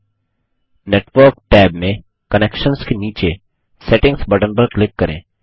network tabनेटवर्क tab में connections के नीचे सेटिंग्स बटन पर क्लिक करें